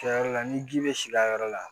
Kɛyɔrɔ la ni ji bɛ sigi a yɔrɔ la